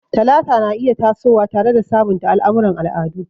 Talata na iya tasowa tare da sabunta al'amuran al'adu.